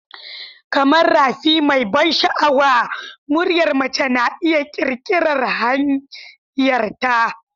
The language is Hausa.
Kamar rafi mai ban sha'awa, muryar mace na iya ƙirƙirar hanyarta.